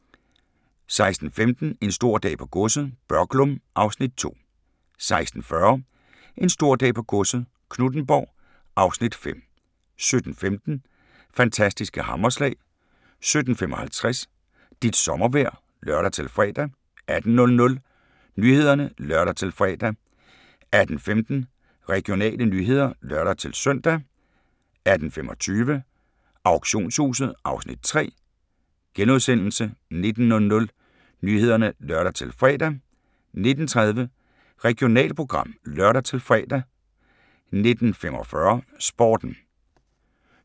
16:15: En stor dag på godset - Børglum (Afs. 2) 16:40: En stor dag på godset - Knuthenborg (Afs. 5) 17:15: Fantastiske hammerslag 17:55: Dit sommervejr (lør-fre) 18:00: Nyhederne (lør-fre) 18:15: Regionale nyheder (lør-søn) 18:25: Auktionshuset (Afs. 3)* 19:00: Nyhederne (lør-fre) 19:30: Regionalprogram (lør-fre) 19:45: Sporten